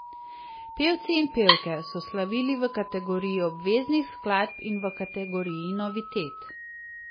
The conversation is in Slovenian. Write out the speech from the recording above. Pevci in pevke so slavili v kategoriji obveznih skladb in v kategoriji novitet.